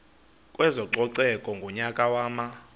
kwezococeko ngonyaka wama